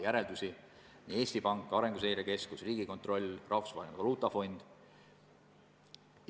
Ma pean silmas Eesti Panka, Arenguseire Keskust, Riigikontrolli, Rahvusvahelist Valuutafondi.